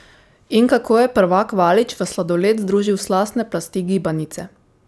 In kako je prvak Valič v sladoled združil slastne plasti gibanice?